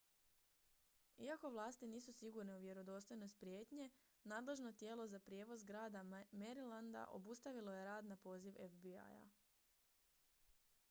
iako vlasti nisu sigurne u vjerodostojnost prijetnje nadležno tijelo za prijevoz grada marylanda obustavilo je rad na poziv fbi-a